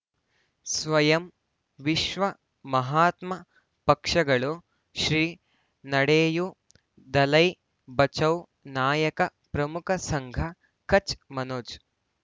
ಸ್ವಯಂ ವಿಶ್ವ ಮಹಾತ್ಮ ಪಕ್ಷಗಳು ಶ್ರೀ ನಡೆಯೂ ದಲೈ ಬಚೌ ನಾಯಕ ಪ್ರಮುಖ ಸಂಘ ಕಚ್ ಮನೋಜ್